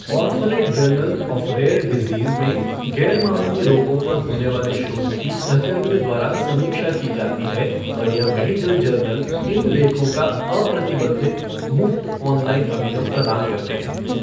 Orphanet journal of rare diseases में ग़ैरमामूली रोगों पर होने वाले शोध की सहकर्मियों द्वारा समीक्षा की जाती है और यह मेडिकल जर्नल इन लेखों का अप्रतिबंधित, मुफ्त ऑनलाइन अभिगम प्रदान करते हैं।